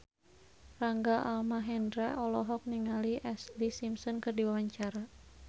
Rangga Almahendra olohok ningali Ashlee Simpson keur diwawancara